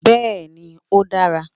Béeni, o dára